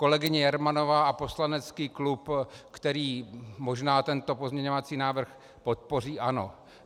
Kolegyně Jermanová a poslanecký klub, který možná tento pozměňovací návrh podpoří, ano.